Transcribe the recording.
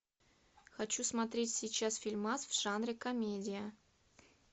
хочу смотреть сейчас фильмас в жанре комедия